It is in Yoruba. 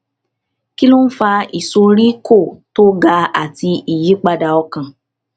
kí ló ń fa ìsoríkó tó ga àti ìyípadà ọkàn